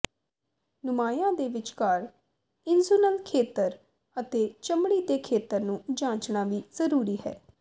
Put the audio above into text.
ਨੁਮਾਇਆਂ ਦੇ ਵਿਚਕਾਰ ਇੰਜੁਨਲ ਖੇਤਰ ਅਤੇ ਚਮੜੀ ਦੇ ਖੇਤਰ ਨੂੰ ਜਾਂਚਣਾ ਵੀ ਜ਼ਰੂਰੀ ਹੈ